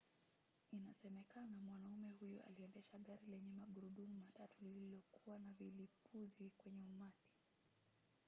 inasemekana mwanamume huyo aliendesha gari lenye magurudumu matatu lililokuwa na vilipuzi kwenye umati